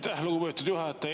Aitäh, lugupeetud juhataja!